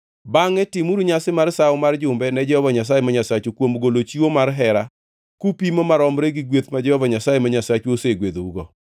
Bangʼe timuru nyasi mar Sawo mar Jumbe ne Jehova Nyasaye ma Nyasachu kuom golo chiwo mar hera kupimo maromre gi gweth ma Jehova Nyasaye ma Nyasachu osegwedhougo.